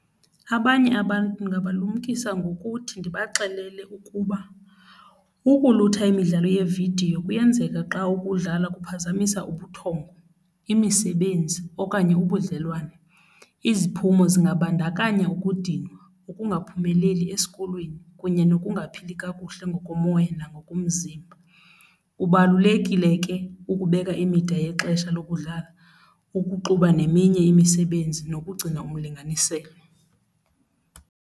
Abanye abantu ndingabalumkisa ngokuthi ndibaxelele ukuba ukulutha imidlalo yeevidiyo kuyenzeka xa ukudlala kuphazamisa ubuthongo, imisebenzi okanye ubudlelwane. Iziphumo singabandakanya ukudinwa, ukungaphumeleli esikolweni kunye nokungaphili kakuhle ngokomoya nangokomzimba. Kubalulekile ke ukubeka imida yexesha lokudlala, ukuxuba neminye imisebenzi nokugcina umlinganiselo.